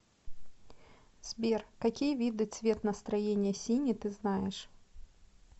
сбер какие виды цвет настроения синий ты знаешь